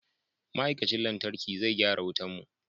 Ma'aikacin lantarki zai gyara wutan mu.